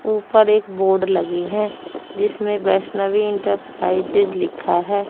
ऊपर एक बोर्ड लगी हैं जिसमें बैष्णबी इंटरप्राइजेज लिक्खा है।